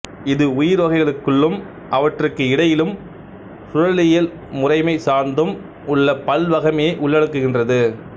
இது உயிர்வகைகளுக்குள்ளும் அவற்றுக்கு இடையிலும் சூழலியல் முறைமை சார்ந்தும் உள்ள பல்வகைமையை உள்ளடக்குகின்றது